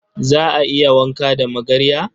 Za a iya wanka da magarya?